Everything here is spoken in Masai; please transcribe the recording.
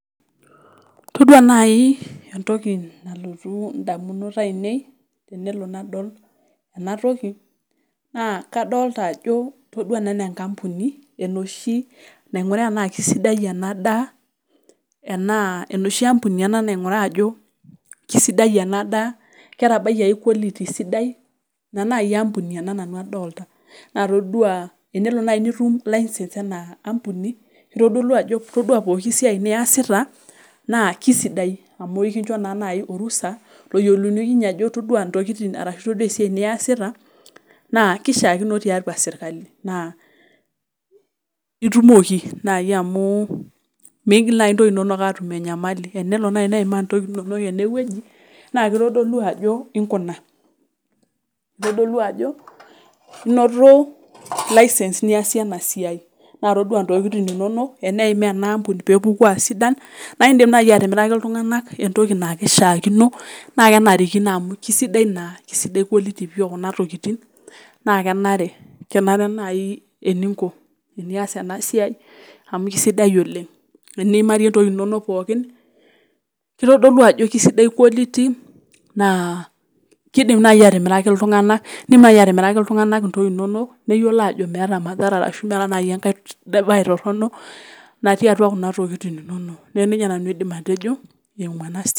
Todua naaji entoki nalotu indamunot aainei tenadol ena naa toki naa eneshi ampuni ena nainguraa endaa enoshi ampuni naing'uraa ajo keisidai ena daa ketabayie ae quality ina naaji nanu adol tena todua pookin siai niasita naa kesidia amu ekinjo naa naaji orusha loyiolounyieki ajo itodua intokitin arashuu itodua esiai niastia keishiakino tiatua serkali amu lre naaji isiatin niasita naa itumoki amu meigill intokitin inonok aaatum enyamali tenelo naaji neeim intokitin inonok ene wueji naa keitodolu ajo inkuna keitodolu ajo inoto license niasie ena siai naa todua intokitin inonok neekmaa ena ampuni peepuku aasidan naa indiim naaji atimiraki iltung'anak amu keisidai naa naa keisidai quality naa kenare naaji teninko amu keisidai oleng teniimarie keitodolu ajo keisidai quality naa keidim naaji atimiraki iltung'anak intokitin inonok neyiolo aajo meeta Mathara natii kuna tokitin inonok neeku nejia nanu aidim atejo eimu ena siai.